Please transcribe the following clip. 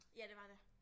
Ja det var det